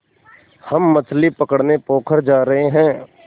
हम मछली पकड़ने पोखर जा रहें हैं